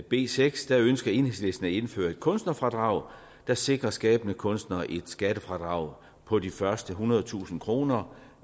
b seks ønsker enhedslisten at indføre et kunstnerfradrag der sikrer skabende kunstnere et skattefradrag på de første ethundredetusind kroner